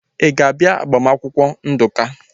Ị ga-abịa agbamakwụkwọ Nduka?